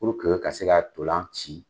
Purke ka se ka ntolan ci